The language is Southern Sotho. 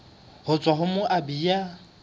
ho tswa ho moabi ya